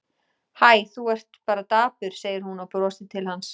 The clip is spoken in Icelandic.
Hæ, þú ert bara dapur, segir hún og brosir til hans.